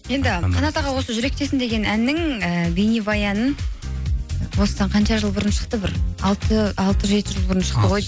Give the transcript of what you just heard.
енді қанат аға осы жүректесің деген әннің ііі бейнебаянын осыдан қанша жыл бұрын шықты бір алты жеті жыл бұрын шықты ғой